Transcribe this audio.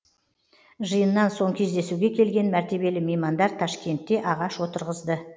жиыннан соң кездесуге келген мәртебелі меймандар ташкентте ағаш отырғызды